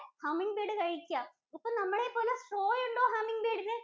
Humming bird കഴിക്കാ. അപ്പോ നമ്മളെ പോലെ straw ഉണ്ടോ humming bird ഇന്?